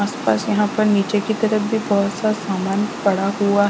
आसपास यहां पर नीचे की तरफ भी बहुत सा सामान पड़ा हुआ।